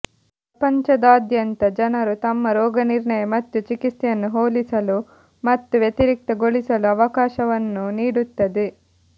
ಪ್ರಪಂಚದಾದ್ಯಂತ ಜನರು ತಮ್ಮ ರೋಗನಿರ್ಣಯ ಮತ್ತು ಚಿಕಿತ್ಸೆಯನ್ನು ಹೋಲಿಸಲು ಮತ್ತು ವ್ಯತಿರಿಕ್ತಗೊಳಿಸಲು ಅವಕಾಶವನ್ನು ನೀಡುತ್ತದೆ